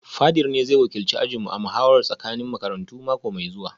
Fadir ne zai wakilci ajinmu a muhawarar tsakanin makarantu mako mai zuwa